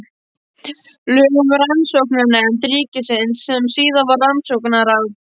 Lög um Rannsóknanefnd ríkisins sem síðar varð Rannsóknaráð.